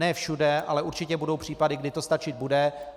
Ne všude, ale určitě budou případy, kdy to stačit bude.